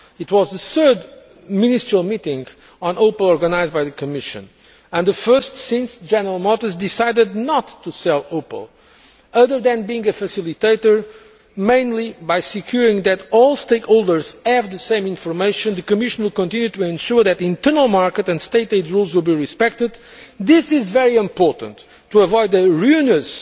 It was the third ministerial meeting on Opel organised by the Commission, and the first since General Motors decided not to sell Opel. Other than being a facilitator, mainly by ensuring that all stakeholders have the same information, the Commission will continue to ensure that internal market and State aid rules will be respected. This is very important to avoid a ruinous